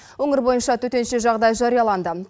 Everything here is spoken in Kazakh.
өңір бойынша төтенше жағдай жарияланды